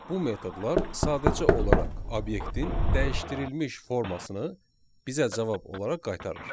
Bu metodlar sadəcə olaraq obyektin dəyişdirilmiş formasını bizə cavab olaraq qaytarır.